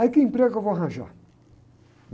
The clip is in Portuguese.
Aí que emprego eu vou arranjar?